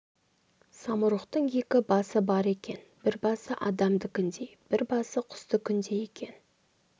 самұрықтың екі басы бар екен бір басы адамдікіндей бір басы құстікіндей екен